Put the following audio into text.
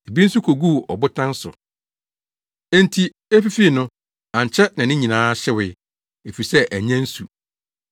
Ebi nso koguu ɔbotan so, enti efifii no, ankyɛ na ne nyinaa hyewee, efisɛ annya nsu.